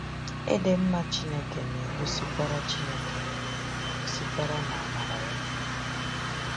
Ịdị mma Chineke na-egosikwara Chineke na-egosikwara n’amara ya.